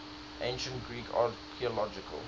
ancient greek archaeological